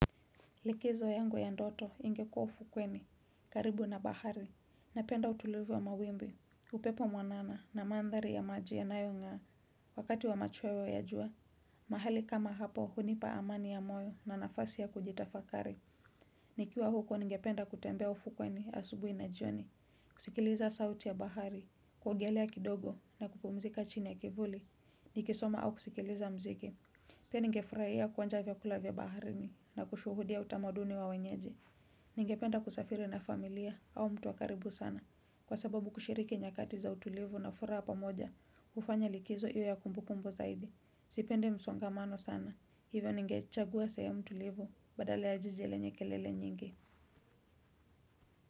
Likizo yangu ya ndoto ingekua ufukweni, karibu na bahari, na penda utulivu wa mawimbi, upepo mwanana na mandhari ya maji nayonga wakati wa machweo ya jua. Mahali kama hapo hunipa amani ya moyo na nafasi ya kujitafakari. Nikiwa huko ningependa kutembea ufukweni asubui na jioni, kusikiliza sauti ya bahari, kuogelea kidogo na kupumzika chini ya kivuli, nikisoma au kusikiliza mziki. Pia ningefuraia kwanja vyakula vyabaharini na kushuhudia utamaduni wa wenyeje. Ningependa kusafiri na familia au mtu wakaribu sana. Kwa sababu kushirike nyakati za utulivu na furaha pamoja, ufanya likizo iwe ya kumbu kumbu zaidi. Sipende msongamano sana. Hivyo nige chagua sehemu tulivu badale ya jiji lenye kelele nyingi.